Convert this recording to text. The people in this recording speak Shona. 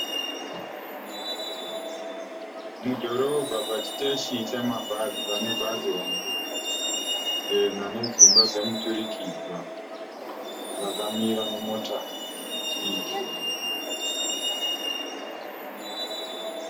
Mudhorobha pachiteshi chamabhazi pane bhazi hombe, jena nedzimba dzemuturikidzwa rakamira nemota diki.